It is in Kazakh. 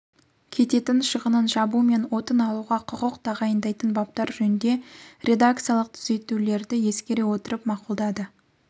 кететін шығынын жабу мен отын алуға құқық тағайындайтын баптар жөнінде редакциялық түзетулерді ескере отырып мақұлдады